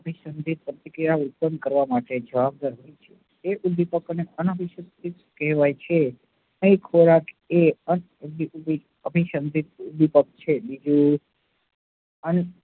અભીસંધિત પ્રતિક્રિયા ઉત્પન્ન કરવા માટે જવાબદાર છે એ ઉદ્દીપકને અનાભીસંધિત કહેવાય છે. તે ખોરાક અનાભીસંધિત ઉદ્દીપક છે